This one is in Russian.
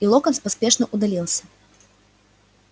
и локонс поспешно удалился